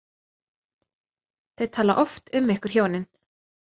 Þau tala oft um ykkur hjónin.